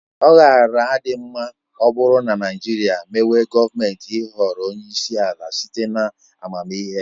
Ọ gaara adị mma ọ bụrụ na Naịjirịa mewe gọọmenti ịhọrọ onyeisi ala site na amamihe ya.